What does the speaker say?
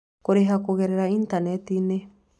Kũrĩha Kũgerera Intaneti-inĩ: